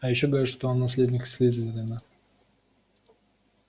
а ещё говорят что он наследник слизерина